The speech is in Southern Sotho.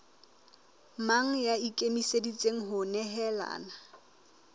mang ya ikemiseditseng ho nehelana